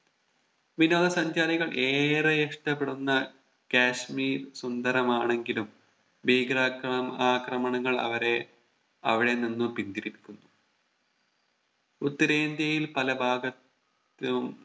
വിനോദ സഞ്ചാരികൾ ഏറെ ഇഷ്ട്ടപ്പെടുന്ന കാശ്മീർ സുന്ദരമാണെങ്കിലും ഭീകര ആക്രമണ ആക്രമണങ്ങൾ അവരെ അവിടെ നിന്നും പിന്തിരിപ്പിക്കുന്നു ഉത്തരേന്ത്യയിൽ പല ഭാഗ ത്തും